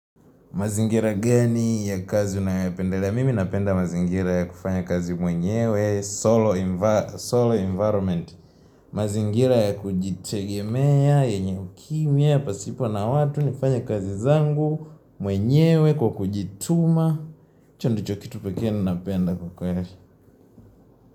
Mazingira gani ya kazi unayopendelea? Mimi napenda mazingira ya kufanya kazi mwenyewe, solo environment. Mazingira ya kujitegemea, yenye ukimya, pasipo na watu, nafanya kazi zangu, mwenyewe, kwa kujituma. Hicho ndicho kitu pekee ninapenda kwa kweli.